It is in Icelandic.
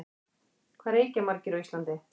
Hvað reykja margir á Íslandi?